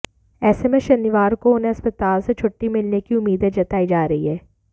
ऐसे में शनिवार को उन्हें अस्पताल से छुट्टी मिलने की उम्मीदें जताई जा रही हैं